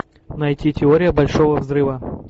найти теория большого взрыва